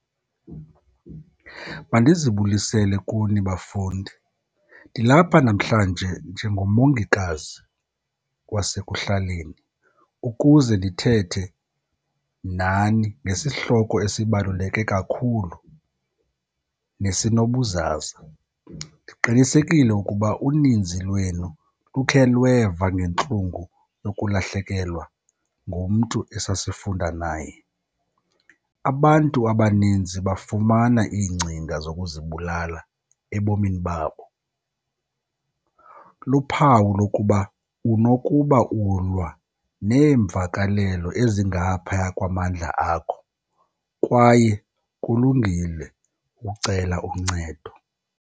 Mandizibulisele kuni bafundi. Ndilapha namhlanje njengomongikazi wasekuhlaleni ukuze ndithethe nani ngesihloko esibaluleke kakhulu nesinobuzaza. Ndiqinisekile ukuba uninzi lwenu lukhe lweva ngentlungu yokulahlekelwa ngumntu esasifunda naye. Abantu abaninzi bafumana iingcinga zokuzibulala ebomini babo. Luphawu lokuba unokuba ulwa neemvakalelo ezingaphaya kwamandla akho kwaye kulungile ukucela uncedo.